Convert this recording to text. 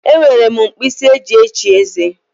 E nwere m mkpisi eji eshi eze.